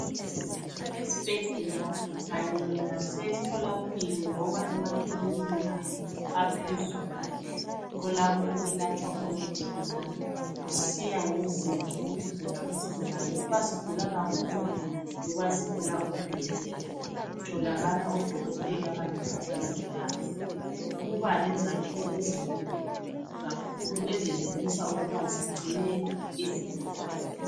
Esibhedlela kanye lase mtholampilo loba emakilinika aphezulu yikholapho okulatshwa khona izigulane kusiya ngezinga lokugula kwesigulane ukuba sigulana kakhulu loba sigula okulingeneyo. Kutholakala odokotela kanye labo mongikazi kuba lezakhiwo ezinkulu kakhulu ezenelisa ukuba zigcine izigulane.